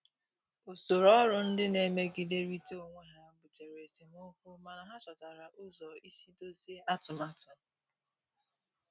Usoro ọrụ ndị na-emegiderịta onwe ha butere esemokwu, mana ha chọtara ụzọ isi dọzie atụmatụ.